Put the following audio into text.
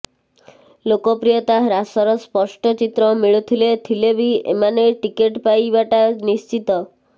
ଲୋକପ୍ରିୟତା ହ୍ରାସର ସ୍ପଷ୍ଟ ଚିତ୍ର ମିଳୁଥିଲେ ଥିଲେ ବି ଏମାନେ ଟିକେଟ୍ ପାଇବାଟା ନିଶ୍ଚିତ